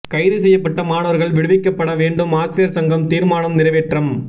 கைது செய்யப்பட்ட மாணவர்கள் விடுவிக்கப்பட வேண்டும் ஆசிரியர் சங்கம் தீர்மானம் நிறைவேற்றம்